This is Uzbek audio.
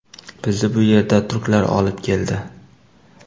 Bizni bu yerda turklar olib keldi.